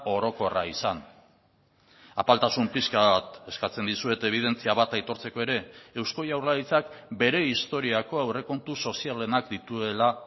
orokorra izan apaltasun pixka bat eskatzen dizuet ebidentzia bat aitortzeko ere eusko jaurlaritzak bere historiako aurrekontu sozialenak dituela